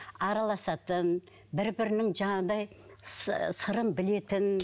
араласатын бір бірінің жаңағыдай сырын білетін